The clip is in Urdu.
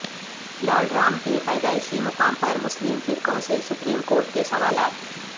لارڈ رام کے پیدائشی مقام پر مسلم فریقوں سے سپریم کورٹ کے سوالات